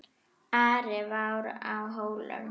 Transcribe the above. Ari var á Hólum.